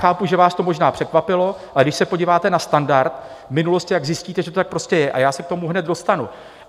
Chápu, že vás to možná překvapilo, ale když se podíváte na standard v minulosti, jak zjistíte, že to tak prostě je, a já se k tomu hned dostanu.